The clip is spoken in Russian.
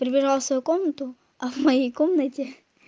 прибирала свою комнату а в моей комнате